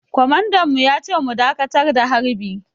Kwamandan mu ya ce mu dakatar da harbi.